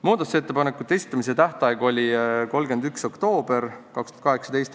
Muudatusettepanekute esitamise tähtaeg oli 31. oktoober 2018.